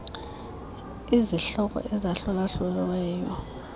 izihloko ezahlula hluliweyo